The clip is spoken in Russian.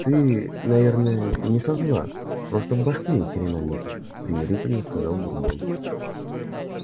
ты наверное не со зла просто в башке ни хрена нету примирительно сказал бурбон